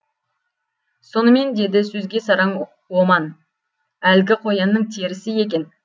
сонымен деді сөзге сараң оман әлгі қоянның терісі екен